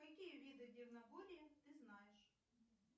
какие виды дивноборья ты знаешь